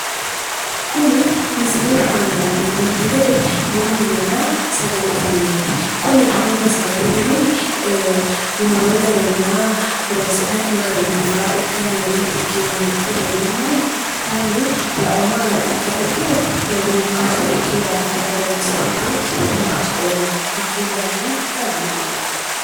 Kuni misilete aana la'neemmote gede bununna sagalete mineeti, kuni bununna sagalete mini worrooy garayinna horonsi'nay gari biife ikke hee'reenna kayiinni la'umma garinni rukkashsho ikkino daafo horonsi'rate dimachaeho hakkuy daafira dihagiidhoomma.